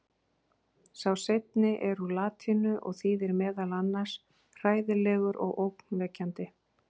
Sá seinni er úr latínu og þýðir meðal annars hræðilegur og ógnvekjandi.